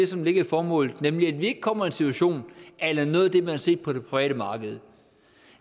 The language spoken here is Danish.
som ligger i formålet nemlig at vi ikke kommer i en situation a la noget af det man har set på det private marked